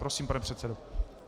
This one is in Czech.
Prosím, pane předsedo.